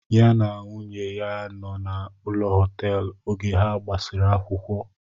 Ya na nwunye ya nọ na ụlọ họteelu oge ha gbasiri akwụkwọ